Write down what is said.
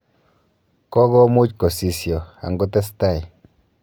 Kogomuuch kosisio angotestai.